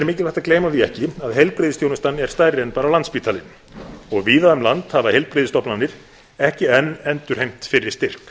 mikilvægt að gleyma því ekki að heilbrigðisþjónustan er stærri en bara landspítalinn og víða um land hafa heilbrigðisstofnanir ekki enn endurheimt fyrri styrk